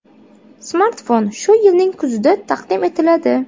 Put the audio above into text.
Smartfon shu yilning kuzida taqdim etiladi.